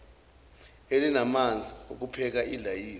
elalinamanzi okupheka ilayisi